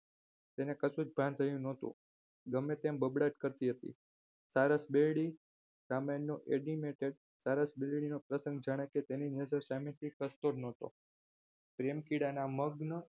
તેને કશું જ ભાન થયું નતું ગમે તેમ બબડાટ કરતી હતી સારસ બિલ્ડી ગારમેન્ટ નું admited સરસ બિલ્ડી નું પ્રસંગ જાણે કે તેની સામેથી ખસતો જ ન હતો પ્રેમ કીડાના મગ્ન